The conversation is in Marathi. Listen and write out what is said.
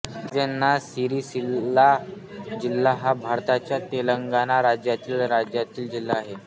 राजन्ना सिरिसिल्ला जिल्हा हा भारताच्या तेलंगणा राज्यातील राज्यातील जिल्हा आहे